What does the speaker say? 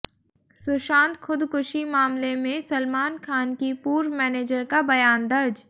सुशांत खुदकुशी मामले में सलमान खान की पूर्व मैनेजर का बयान दर्ज